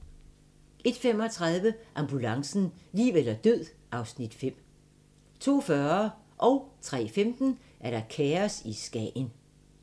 01:35: Ambulancen - liv eller død (Afs. 5) 02:40: Kaos i Skagen 03:15: Kaos i Skagen